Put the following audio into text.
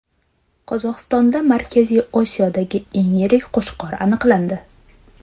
Qozog‘istonda Markaziy Osiyodagi eng yirik qo‘chqor aniqlandi .